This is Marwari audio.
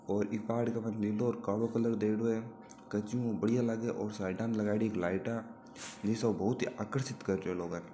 और ई पहाड़ के माते नीलो और कालो कलर दियोड़ो है कछु बढ़िया लागे और साईड में इके लगायोडी है लाईटा जिससे बहुत ही आकर्षित करती है लोगो ने।